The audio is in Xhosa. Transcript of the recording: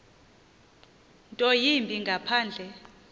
nto yimbi ngaphandle